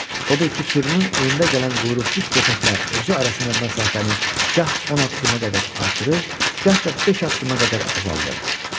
Odur ki, sürünün önündə gələn quyruqsuz köpəklə özü arasında məsafəni gah on addıma qədər artırır, gah da beş addıma qədər azaldırdı.